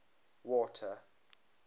water